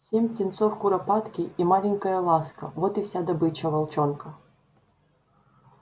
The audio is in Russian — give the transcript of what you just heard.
семь птенцов куропатки и маленькая ласка вот и вся добыча волчонка